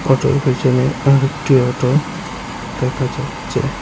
অটোর পেছনে আরেকটি অটো দেখা যাচ্ছে।